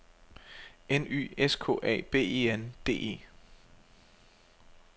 N Y S K A B E N D E